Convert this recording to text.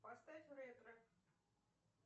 поставь ретро